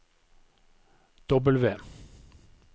W